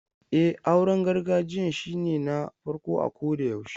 E, auren gargajiyan shine na farko a kodayaushe.